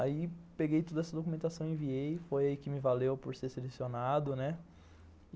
Aí peguei toda essa documentação, enviei, foi aí que me valeu por ser selecionado, né.